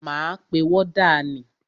Máa pe wọ́dà ni.